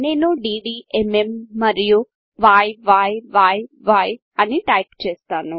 నేను ddఎంఎం మరియు య్య్ అని టైప్చేస్తాను